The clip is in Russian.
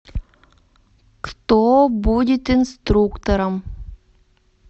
кто будет инструктором